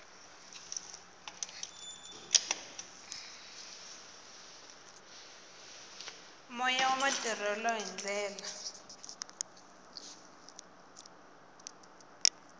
moya wa matirhelo hi ndlela